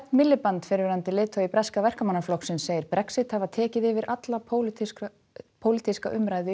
Miliband fyrrverandi leiðtogi breska Verkamannaflokksins segir Brexit hafa tekið yfir alla pólitíska pólitíska umræðu í